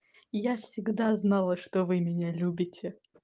я всегда знала что вы меня любите